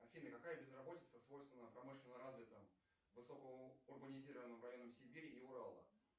афина какая безработица свойственна промышленно развитым высокоурбанизированным районам сибири и урала